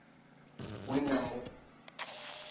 ṅ we na mu ṅ